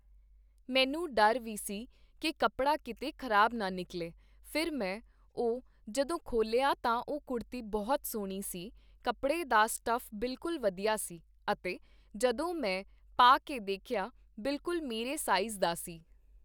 ਮੈਨੂੰ ਡਰ ਵੀ ਸੀ ਕਿ ਕੱਪੜਾ ਕੀਤੇ ਖ਼ਰਾਬ ਨਾ ਨਿਕਲੇ, ਫਿਰ ਮੈਂ ਉਹ ਜਦੋਂ ਖੋਲ੍ਹਿਆ ਤਾਂ ਉਹ ਕੁੜਤੀ ਬਹੁਤ ਸੋਹਣੀ ਸੀ, ਕੱਪੜੇ ਦਾ ਸਟੱਫ ਬਿਲਕੁਲ ਵਧੀਆ ਸੀ ਅਤੇ ਜਦੋਂ ਮੈਂ ਪਾ ਕੇ ਦੇਖਿਆ ਬਿਲਕੁਲ ਮੇਰੇ ਸਾਈਜ਼ ਦਾ ਸੀ